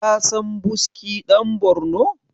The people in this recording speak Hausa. kasan buski dan Borno?